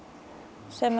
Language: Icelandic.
sem